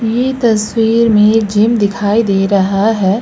यह तस्वीर में जिम दिखाई दे रहा है।